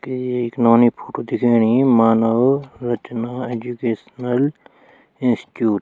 कि ये एक नौनी की फोटू दिखेणी मानव रचना एजुकेशनल इंस्टीट्यूट ।